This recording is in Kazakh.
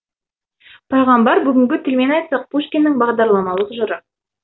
пайғамбар бүгінгі тілмен айтсақ пушкиннің бағдарламалық жыры